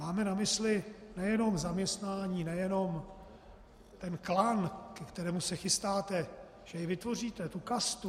Máme na mysli nejenom zaměstnání, nejenom ten klan, ke kterému se chystáte, že jej vytvoříte, tu kastu?